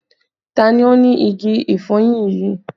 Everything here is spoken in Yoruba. Ta ni ó ni igi ìfọyín yìí?